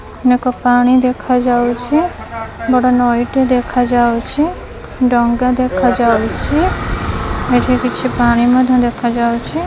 ନେକ ପାଣି ଦେଖାଯାଉଛି ବଡ ନଈଟେ ଦେଖାଯାଉଛି ଡଙ୍ଗା ଦେଖାଯାଉଛି ଏଠି କିଛି ପାଣି ମଧ୍ୟ ଦେଖାଯାଉଛି।